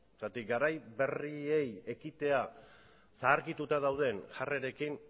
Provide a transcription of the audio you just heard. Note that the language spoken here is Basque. zergatik garai berriei ekitea zaharkituta dauden jarrerekin